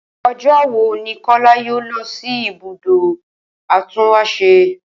O̩jó̩ wo ni Kó̩lá yóò lo̩ si ibùdó atúnwàs̩e?